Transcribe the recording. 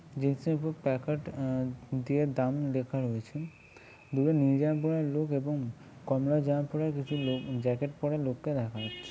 জিনিসের উপর প্লাকার্ড আ দিয়ে দাম লেখা রয়েছে । দুটো নীল জামা পরা লোক এবং কমলা জামা পরা দুটি লোক উম জ্যাকেট পরা লোককে দেখা যাচ্ছে।